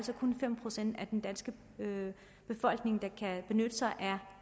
fem procent af den danske befolkning der kan benytte sig